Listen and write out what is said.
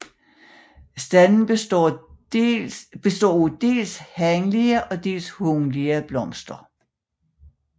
Standen består af dels hanlige og dels hunlige blomster